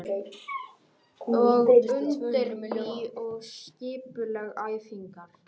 Ég undirbý og skipulegg æfingarnar.